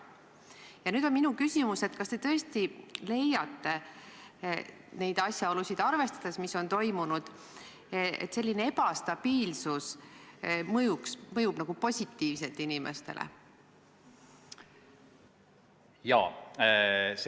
Ja nüüd on minu küsimus: kas te tõesti leiate neid asjaolusid arvestades, et selline ebastabiilsus mõjub inimestele positiivselt?